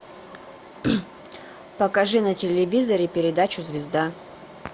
покажи на телевизоре передачу звезда